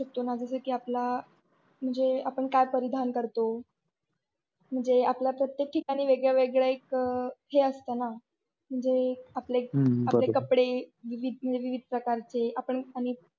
जस कि आपला आपण काय परिधान करतो म्हणजे आपल्या प्रत्येक ठिकाणी वेगवेगळ्या एक हे असताना आपले कपडे विविद निवीद प्रकारचे आपण आणि.